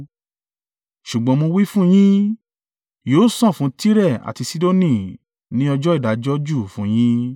Ṣùgbọ́n mo wí fún yín, yóò sàn fún Tire àti Sidoni ní ọjọ́ ìdájọ́ jù fún yín.